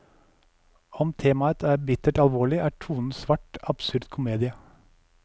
Om temaet er bittert alvorlig, er tonen svart, absurd komedie.